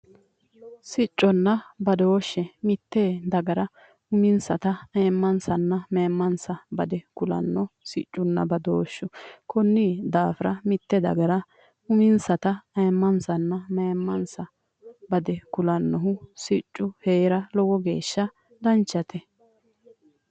Sicconna badooshe mitte dagara ayiimmansanna mayiimmansa bade kulanno sicconna badooshshu konni daafira mitte dagara uminsata ayyimmansanna mayiimmansa bade kulannohu siccu hee'ra lowo geeshsha danchate.